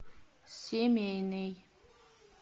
семейный